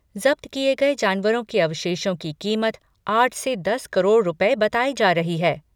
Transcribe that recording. जब्त किए गए जानवरों के अवशेषों की कीमत आठ से दस करोड़ रुपये बताई जा रही है।